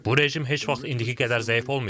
Bu rejim heç vaxt indiki qədər zəif olmayıb.